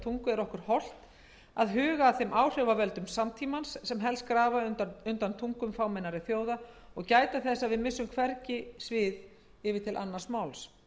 tungu er okkur hollt að huga að þeim áhrifavöldum samtímans sem helst grafa undan tungum fámennari þjóða og gæta þess að við missum hvergi svið yfir til annars máls